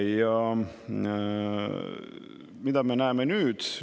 Ja mida me näeme nüüd?